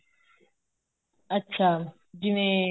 ਅੱਛਾ ਜਿਵੇਂ